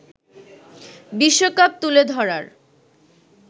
বিশ্বকাপ তুলে ধরার